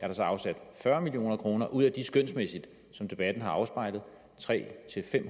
der så afsat fyrre million kroner ud af de skønsmæssigt som debatten har afspejlet tre